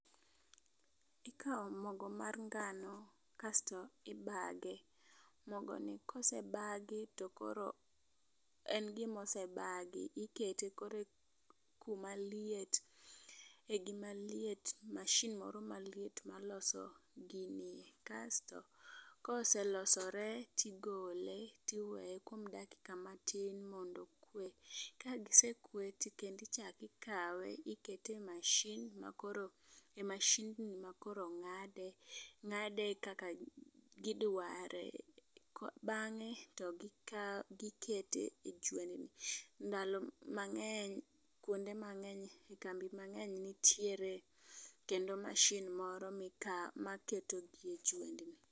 Ikawo mogo mar ngano kasto ibage. Mogo ni kosebagi to koro en gimosebagi ikete kore kuma liet e gima liet. Masin moro maliet maloso ginie kasto koselosore tigole tiweye kuom dakika matin mondo okwe. Kagisekwe to kendi chaki kawe ikete masin makoro masin ma koro ng'ade kak gidware k bange to gik gikete e jwendni . Ndalo mang'eny kuonde mang'eny e kambi mang'eny nitiere kendo masin moro mika maketo gi e jwendni .